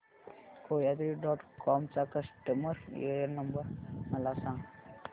कोयात्री dot com चा customer care number मला सांगा